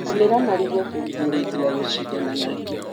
Rĩmĩra marigũ kũrigĩrĩria gũcindana na ria.